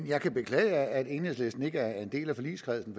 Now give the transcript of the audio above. jeg kan beklage at enhedslisten ikke er en del af forligskredsen